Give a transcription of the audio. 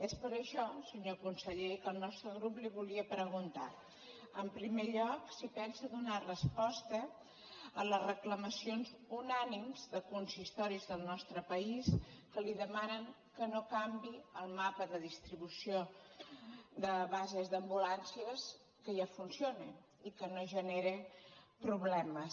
és per això senyor conseller que el nostre grup li volia preguntar en primer lloc si pensa donar resposta a les reclamacions unànimes de consistoris del nostre país que li demanen que no canviï el mapa de distribució de bases d’ambulàncies que ja funcionen i que no generen problemes